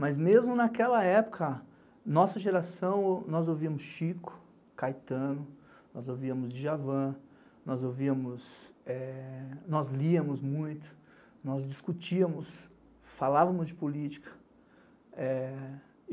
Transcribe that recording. Mas mesmo naquela época, nossa geração, nós ouvíamos Chico, Caetano, nós ouvíamos Djavan, nós ouvíamos, nós liamos muito, nós discutíamos, falávamos de política.